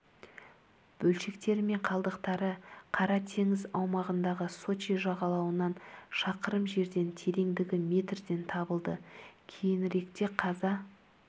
бөлшектері мен қалдықтары қара теңіз аумағындағы сочи жағалауынан шақырым жерден тереңдігі метрден табылды кейініректе қаза